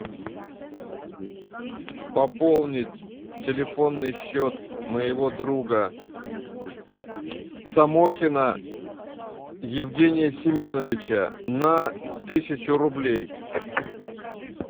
пополнить телефонный счет моего друга самохина евгения семеновича на тысячу рублей